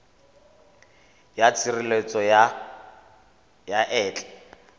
ya tshireletso ya ma etla